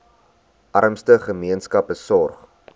armste gemeenskappe sorg